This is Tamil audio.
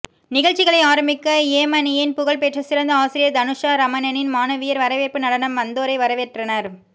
நிகழ்ச்சிகளை ஆரம்பிக்க யேமனியின் புகழ் பெற்ற சிறந்த ஆசிரியை தனுசா ரமணனின் மாணவியர் வரவேற்பு நடனம் வந்தோரை வரவேற்றனர்